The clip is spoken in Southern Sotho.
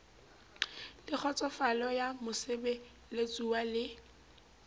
le kgotsofalo ya mosebeletsuwa le